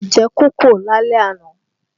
A jẹ kókò lálẹ́ àná